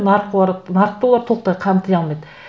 нарық нарықты олар толықтай қамти алмайды